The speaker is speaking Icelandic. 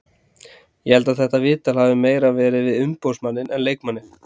Ég held að þetta viðtal hafi meira verið við umboðsmanninn en leikmanninn.